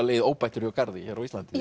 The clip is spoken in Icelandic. legið óbættur hjá garði á Íslandi